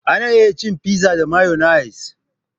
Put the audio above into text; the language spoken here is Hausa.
An iya cin fiza da mayonnaise